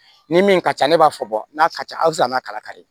Ni min ka ca ne b'a fɔ n'a ka ca a tɛ se a n'a kala kari